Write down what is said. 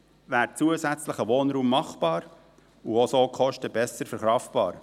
Häufig wäre zusätzlicher Wohnraum machbar und so auch die Kosten besser verkraftbar.